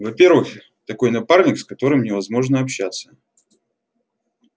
во-первых такой напарник с которым невозможно общаться